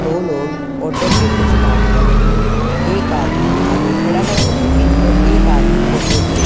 दो लोग ऑटो पे कुछ काम कर रहे है। एक आदमी आगे खड़ा है ऑटो के और एक आदमी ऑटो के--